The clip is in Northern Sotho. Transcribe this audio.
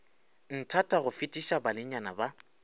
nthata go fetiša banenyana ba